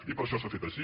i per això s’ha fet així